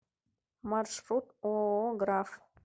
маршрут ооо граф